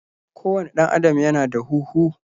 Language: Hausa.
ko wane dan Adam Ya na da huhu.